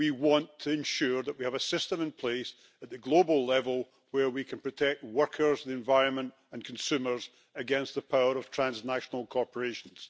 We want to ensure that we have a system in place at the global level where we can protect workers, the environment and consumers against the power of transnational corporations.